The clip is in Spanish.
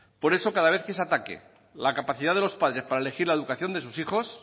por eso cada vez que se ataque la capacidad de los padres para elegir la educación de sus hijos